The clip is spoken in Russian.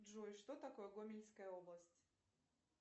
джой что такое гомельская область